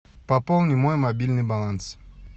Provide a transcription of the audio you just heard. пополни мой мобильный баланс